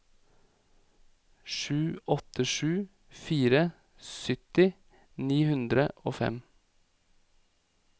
sju åtte sju fire sytti ni hundre og fem